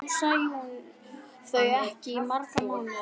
Nú sæi hún þau ekki í marga mánuði.